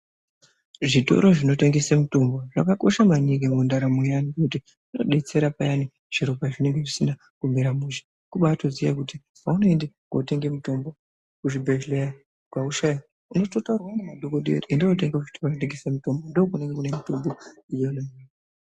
Zvitoro zvinotengesa mitombo zvakakosha maningi mundaramo yedu ngekuti inodetsera maningi zviro pazvinenge zvisina kumira mushe kubatoziva kuti paunoenda kundotenga mitombo kuzvibhedhlera kweshe unototaurirwa nemadhokoteya kuti enda unotenga kunotengeswa mitombo kunenge kune mitombo.